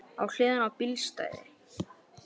Á hliðinni á bílastæði